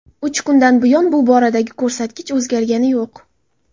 Uch kundan buyon bu boradagi ko‘rsatkich o‘zgargani yo‘q.